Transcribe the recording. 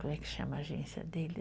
Como é que chama a agência dele?